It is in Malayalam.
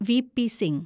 വി.പി. സിങ്